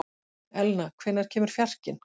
Elna, hvenær kemur fjarkinn?